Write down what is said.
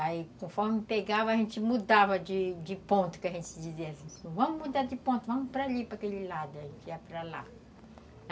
Aí, conforme pegava, a gente mudava de de ponto, que a gente dizia assim, vamos mudar de ponto, vamos para ali, para aquele lado, a gente ia para lá.